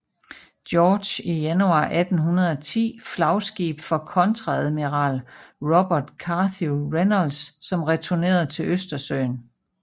George i januar 1810 flagskib for kontreadmiral Robert Carthew Reynolds som returnerede til Østersøen